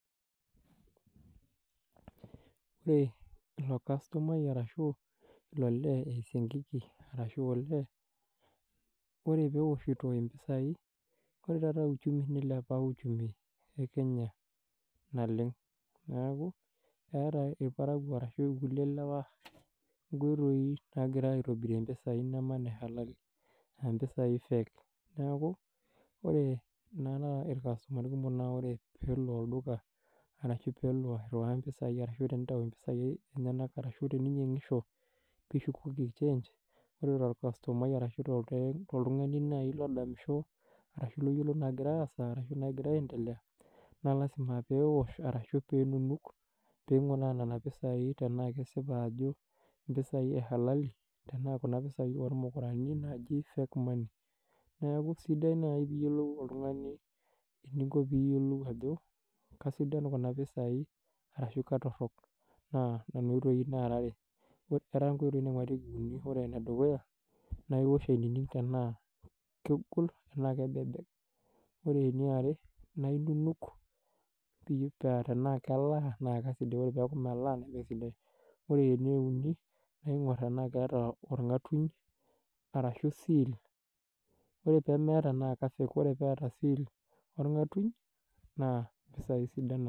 Ore ilo kastumai arashu ilo lee eh siankiki arashu olee. Ore peewoshito impisai ore taata uchumi nilepa uchumi ekenya naleng. Neaku eata irparakuo arashu irkulie lewa nkoitoi nagira aitobirie impisai neme nehalali ah impisai fake. Neaku ore naa taata orkastomani kumok peelo olduka arashu peelo airiwaa impisai ashu tenelo aitayu nenyanak arashu teninyangisho pishukoki change ore torkastomai ashu, toltungani naaji lodol ashu loyiolo nagira aasa ashu loyiolo nagira aiendelea naa, lasima peewosh ashu pee enunuk pinguraa nena pisai tenaa kesipa ajo impisai eh halali tenaa kuna pisai ormukurani fake money. Neaku sidai naaji pee iyiolou oltungani eniko pee iyiolou ajo kasidan kuna pisai arashu, katorok naa, kuna oitoi nara are, era nkoitoi naingurarieki uni, ore ene dukuya naa wish aininig tenaa kegol tenaa kebebek ore eniare naa inunuk pidol tenaa keelaa enaa melaa ore paa melaa naa, ninye esidai ore ene uni ningor tenaa keeta orngatuny arashu seal ore pemeata naa ke fake ore paa keata seal orngatuny naa, impisai sidan nena.